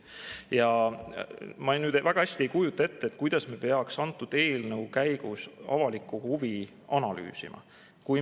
Ja ma väga hästi ei kujuta ette, kuidas me peaks selle eelnõu käigus avalikku huvi analüüsima.